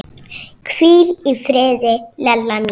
Hvíl í friði, Lella mín.